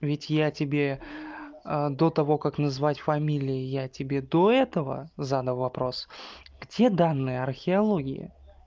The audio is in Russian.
ведь я тебе до того как назвать фамилии я тебе до этого задал вопрос где данные археологии